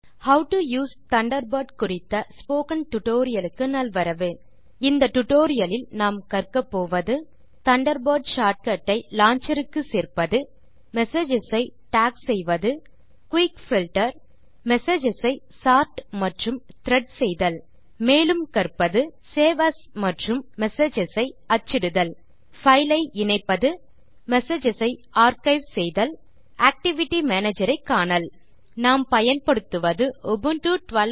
how to use Thunderbird குறித்த spoken tutorial க்கு நல்வரவு இந்த டியூட்டோரியல் லில் நாம் கற்கப்போவது தண்டர்பர்ட் ஷார்ட் கட் ஐ லான்ச்சர் க்கு சேர்ப்பது மெசேஜஸ் ஐ டாக் செய்வது குயிக் பில்ட்டர் மெசேஜஸ் ஐ சோர்ட் மற்றும் த்ரெட் செய்தல் மேலும் கற்பது சேவ் ஏஎஸ் மற்றும் மெசேஜஸ் அச்சிடுதல் பைல் ஐ இணைப்பது மெசேஜஸ் ஐ ஆர்க்கைவ் செய்தல் ஆக்டிவிட்டி மேனேஜர் ஐ காணல் நாம் பயன்படுத்துவது உபுண்டு 1204